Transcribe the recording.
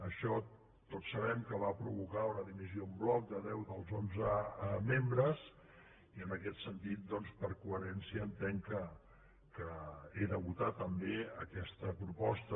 això tots sabem que va provocar una di·missió en bloc de deu dels onze membres i en aquest sentit doncs per coherència entenc que he de votar també aquesta proposta